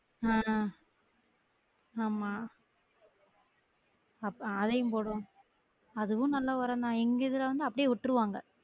ஆஹ் ஆமா அப்போ அதையும் போடுவாங் அதுவும் நல்ல ஒரம்தான் எங்க இதுல வந்து அப்டியே விட்ருவாங்க